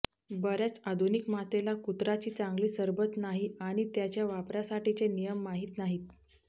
बर्याच आधुनिक मातेला कुत्राची चांगली सरबत नाही आणि त्याच्या वापरासाठीचे नियम माहित नाहीत